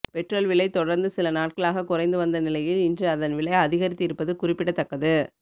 petrol விலை தொடர்ந்து சில நாட்களாக குறைந்து வந்த நிலையில் இன்று அதன் விலை அதிகரித்து இருப்பது குறிப்பிடத்தக்கது